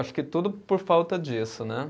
Acho que tudo por falta disso, né?